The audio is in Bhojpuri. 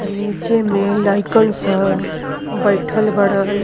आ नीचे में लइकन सब बइठल बाड़न।